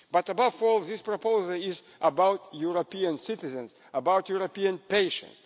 But, above all, this proposal is about European citizens, about European patients.